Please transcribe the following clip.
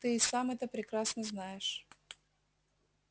ты и сам это прекрасно знаешь